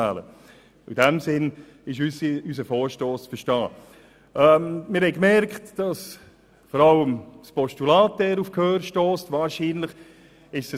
Die Motionäre gehören zur grünen Partei, zur EVP und zur SVP, was fast ein bisschen suspekt sein könnte.